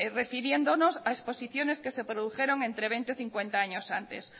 refiriéndonos a exposiciones que se produjeron entre veinte ó cincuenta años antes